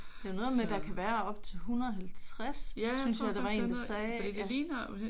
Der er jo noget med at der kan være op til 150 synes jeg der var én der sagde